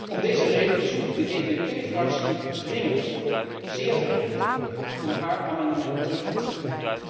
Om deze reden verzoek ik de EVP Fractie dringend, zeer dringend, om haar amendement in te trekken.